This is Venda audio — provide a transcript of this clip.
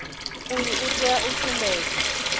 uyu u tea u sumbedza